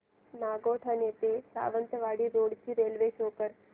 नागोठणे ते सावंतवाडी रोड ची railway show कर